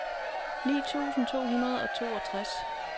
ni tusind to hundrede og toogtres